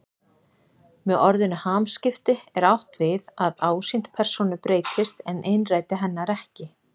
Með orðinu hamskipti er átt við að ásýnd persónu breytist en innræti hennar ekki.